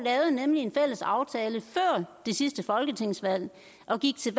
lavede nemlig en fælles aftale før det sidste folketingsvalg og gik til